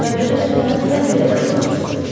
Ərəblərə çatana qədər belə davam edəcəyik.